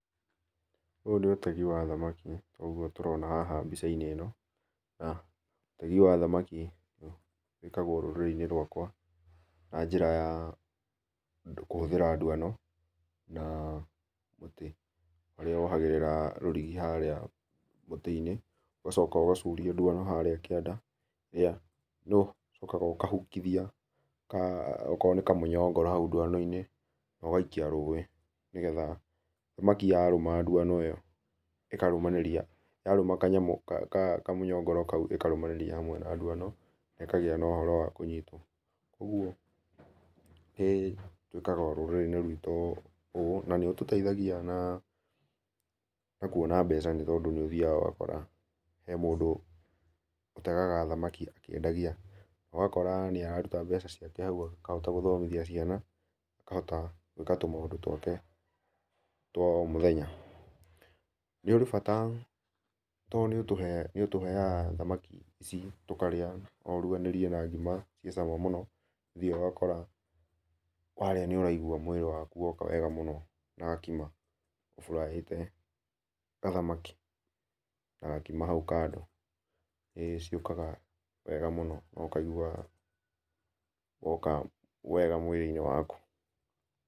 Ũũ nĩ ũtegi wa thamaki ũgũo tũrona haha bĩca inĩ ino na ũtegĩ wa thamaki wĩkagwo rũrĩrĩ inĩ rwakwa na jĩra ya kũhũthĩra ndũano na mũtĩ, ũrĩa wohagĩrĩrĩa rũrigi harĩa mũtĩ inĩ ũgacoka ũgacũria ndũano harĩa kĩanda harĩa ũkahũkũthĩa okoro nĩ kamũnyongoro haũ ndũano inĩ na ũgaikĩa rũĩ, nĩ getha thamaki yarũma ndũano ĩyo ĩkarũmanĩrĩa yarũma kanyamũ kamũnyongoro kaũ ĩkarũamanĩrĩa hamwe na ndũano na ĩkagĩa na ũhoro wa kũnyĩtwo, kwogwo nĩtũĩkaga rũrĩrĩ ĩnĩ rwĩto ũũ na nĩ ũtũteithagĩa na kũona mbeca nĩ tũndũ nĩũthĩaga ũgakora he mũndũ ũtegaga thamakĩ akĩendagĩa ũgakora nĩararũta mbeca ciake haũ akahota gũthomĩthĩa ciana, na akahota gwĩka tũmaũndũ twake twa o mũthenya. Nĩ ũrĩ bata tondũ nĩ ũtũheaga thamakĩ ici tũkarĩa nũ ũrũganĩrie na ngĩma cie cama mũno nĩũthĩaga ũgakora warĩa nĩũragĩũa mwĩrĩ wakũ woka wega mũno na gakĩma ũ fry ĩte kathamaki na ngĩma haũ kando nĩ ciokaga wega mũno na ũkaigũa woka wega mwĩrĩ inĩ wakũ.